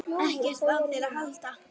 EKKERT Á ÞÉR AÐ HALDA!